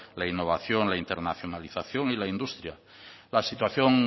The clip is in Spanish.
la innovación la internacionalización y la industria la situación